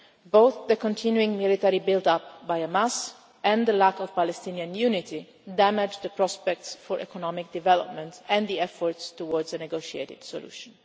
situation. Both the continuing military build-up by Hamas and the lack of Palestinian unity damage prospects for economic development and efforts towards a negotiated